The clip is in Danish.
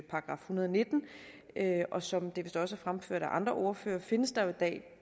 hundrede og nitten og som det vist også er fremført af andre ordførere findes der jo i dag